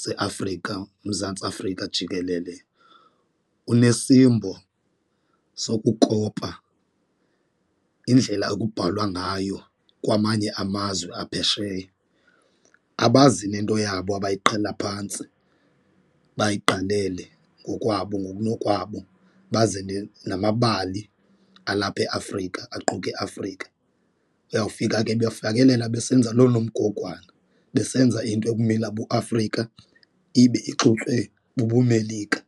seAfrika uMzantsi Afrika jikelele, unesimbo sokukopa indlela ekubhalwa ngayo kwamanye amazwe aphesheya. Abazi nento yabo abayiqala phantsi bayiqalele ngokwabo ngokunokwabo baze namabali alapha eAfrika aquka iAfrika, uyawufika ke befakelela besenza loo nomgogwana besenza into ekumila buAfrika ibe ixutywe bubuMelika.